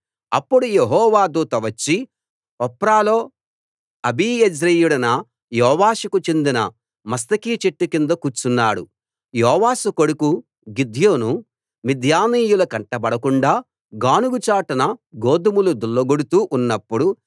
అప్పుడు యెహోవా దూత వచ్చి ఒఫ్రాలో అబీయెజ్రీయుడైన యోవాషుకు చెందిన మస్తకి చెట్టు కింద కూర్చున్నాడు యోవాషు కొడుకు గిద్యోను మిద్యానీయుల కంటబడకుండా గానుగ చాటున గోదుమలు దుళ్లగొడుతూ ఉన్నప్పుడు